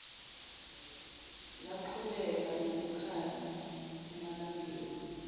laqhubeka nokukhanya emalangeni